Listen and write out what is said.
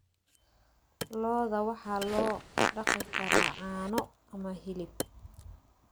Lo'da waxaa loo dhaqi karaa caano ama hilib.